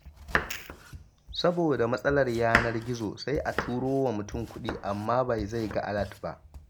Saboda matsalar yanar gizo, sai a turowa mutum kuɗi amma bai zai ga alat ba.